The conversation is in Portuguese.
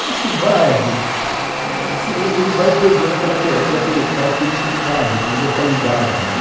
Acho que o bairro, é, assim, ele ele vai perdendo aquela aque aquele característico de bairro, de localidade, né